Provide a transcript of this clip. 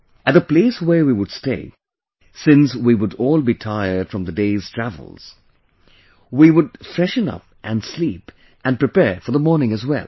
At the place where we would stay, since we would all be tired from the day's travels, we would freshen up and sleep and prepare for the morning as well